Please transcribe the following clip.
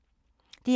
DR2